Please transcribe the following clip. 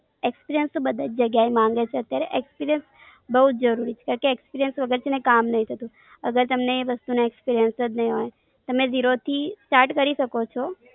Experience તો બધી જ જગ્યા એ માંગે છે અત્યારે experience બોવ જ જરૂરી છે. કે કે, experience વગર છેને કામ નઈ થતું. અગર તેમને વસ્તુ નો experience જ નઈ હોય અને start from zero કરી શકો છો.